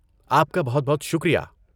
آپ کا بہت بہت شکریہ۔